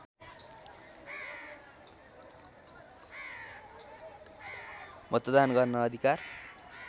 मतदान गर्न अधिकार